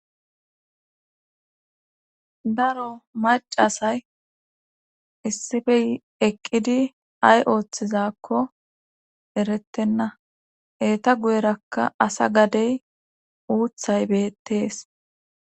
Daro macasay issifey eqqidi ay ooththizakko erettenna eeta guyerakka asa gadey uuthay beettees.